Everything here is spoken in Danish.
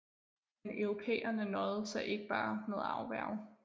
Men europæerne nøjede sig ikke bare med at afværge